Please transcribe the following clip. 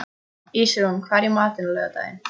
Ísrún, hvað er í matinn á laugardaginn?